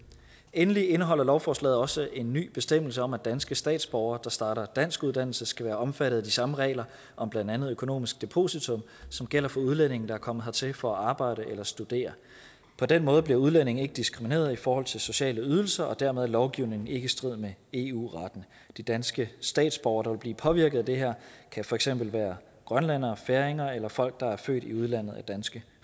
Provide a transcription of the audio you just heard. endelig indeholder lovforslaget også en ny bestemmelse om at danske statsborgere der starter danskuddannelse skal være omfattet af de samme regler om blandt andet økonomisk depositum som gælder for udlændinge der er kommet hertil for at arbejde eller studere på den måde bliver udlændinge ikke diskrimineret i forhold til sociale ydelser og dermed er lovgivningen ikke i strid med eu retten de danske statsborgere der vil blive påvirket af det her kan for eksempel være grønlændere færinger eller folk der er født i udlandet at danske